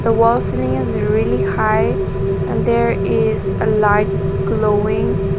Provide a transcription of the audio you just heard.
the wall ceiling is really high and there is uh light glowing.